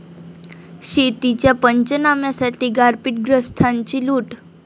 शेतीच्या पंचनाम्यासाठी गारपीटग्रस्तांची लूट!